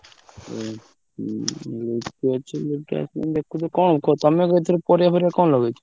ଉଁ ହୁଁ ଅଛି ଗୋଟେ କଣ କରୁ ତମେ ଏଥର ପରିବା ଫରିବା କଣ ଲଗେଇଚ?